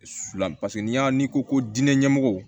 Su fila n'i y'a n'i ko ko diinɛ ɲɛmɔgɔw